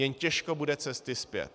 Jen těžko bude cesty zpět.